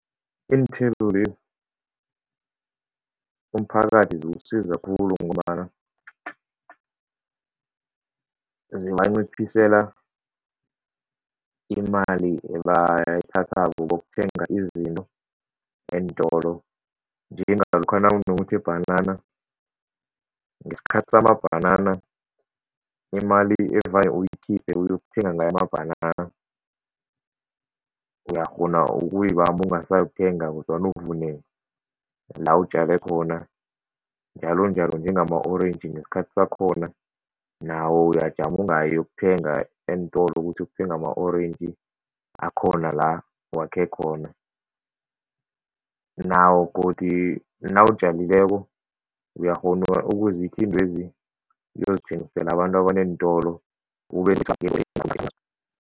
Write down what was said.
Iinthelo lezi, umphakathi ziwusiza khulu ngombana zibanciphisela imali ebayithathako bokuthenga izinto eentolo njengalokha nawunokuthi ibhanana, ngesikhathi samabhanana imali evane uyikhiphe uyokuthenga ngayo amabhanana, uyakghona ukuyibamba ungasayokuthenga kodwana uvune la utjale khona njalonjalo njengama-orentji ngesikhathi sakhona nawo uyajama ungayi ukuyokuthenga eentolo ukuthi ukuthenga ama-orentji akhona la wakhe khona, nawo godi nawutjalileko uyakghona ukuzikha iintwezi uyozithengisela abantu abaneentolo